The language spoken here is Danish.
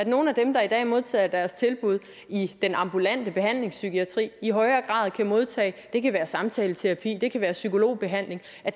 nogle af dem der i dag modtager deres tilbud i den ambulante behandlingspsykiatri i højere grad kan modtage det kan være samtaleterapi det kan være psykologbehandling